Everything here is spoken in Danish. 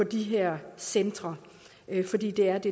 de her centre fordi det er det